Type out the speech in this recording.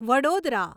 Vadodara